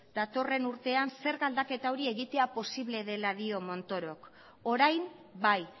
datorren urtean zerga aldaketa hori posible dela dio montorok orain bai